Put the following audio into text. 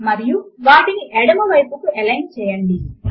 మరియు వాటిని ఎడమ వైపునకు ఎలైన్ చేయండి